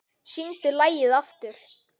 Syngdu lagið aftur, mamma